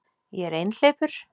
Ég er einhleypur